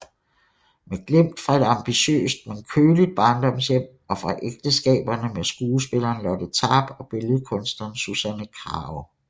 Med glimt fra et ambitiøst men køligt barndomshjem og fra ægteskaberne med skuespilleren Lotte Tarp og billedkunstneren Susanne Krage